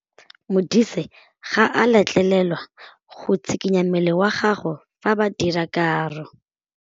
Modise ga a letlelelwa go tshikinya mmele wa gagwe fa ba dira karô.